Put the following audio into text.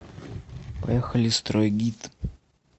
поехали стройгид